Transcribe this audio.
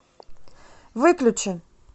выключи